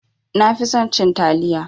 Nafi son cin taliya